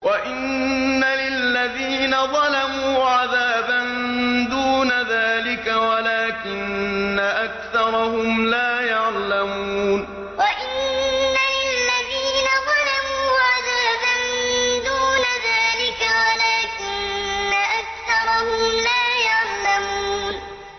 وَإِنَّ لِلَّذِينَ ظَلَمُوا عَذَابًا دُونَ ذَٰلِكَ وَلَٰكِنَّ أَكْثَرَهُمْ لَا يَعْلَمُونَ وَإِنَّ لِلَّذِينَ ظَلَمُوا عَذَابًا دُونَ ذَٰلِكَ وَلَٰكِنَّ أَكْثَرَهُمْ لَا يَعْلَمُونَ